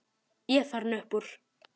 Ég er farinn upp úr.